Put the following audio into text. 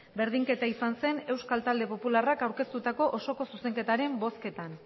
berdinketa izan zen euskal talde popularrak aurkeztutako osoko zuzenketaren bozketan